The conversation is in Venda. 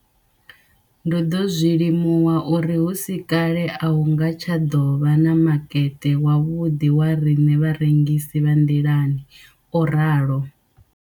Ndo ḓo zwi limuwa uri hu si kale a hu nga tsha ḓo vha na makete wavhuḓi wa riṋe vharengisi vha nḓilani, o ralo.